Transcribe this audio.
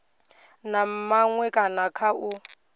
na maṅwe kana kha u